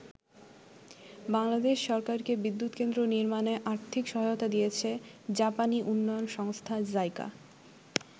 বাংলাদেশ সরকারকে বিদ্যুৎকেন্দ্র নির্মাণে আর্থিক সহায়তা দিয়েছে জাপানী উন্নয়ন সংস্থা জাইকা।